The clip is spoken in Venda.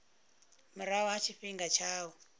murahu ha tshifhinga tsha u